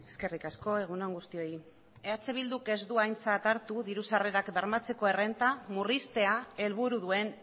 eskerrik asko egun on guztioi eh bilduk ez du aintzat hartu diru sarrerak bermatzeko errenta murriztea helburu duen